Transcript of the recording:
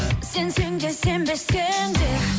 сенсең де сенбесең де